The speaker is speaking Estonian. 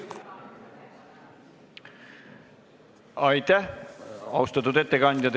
Aitäh, austatud ettekandja!